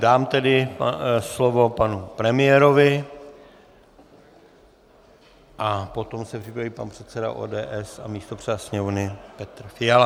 Dám tedy slovo panu premiérovi a potom se připraví pan předseda ODS a místopředseda Sněmovny Petr Fiala.